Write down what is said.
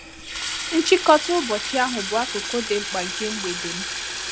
Nchịkọta ụbọchị ahụ bụ akụkụ dị mkpa nke mgbede m.